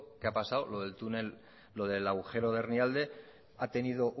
que ha pasado lo del agujero de hernialde ha tenido